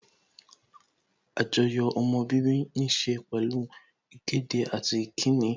Àjoyò ọmọ bíbí níse pẹ̀lú ìkéde àti ìkíni